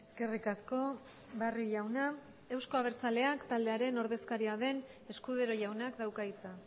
eskerrik asko barrio jauna euzko abertzaleak taldearen ordezkaria den escudero jaunak dauka hitza